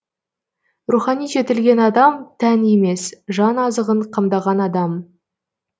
рухани жетілген адам тән емес жан азығын қамдаған адам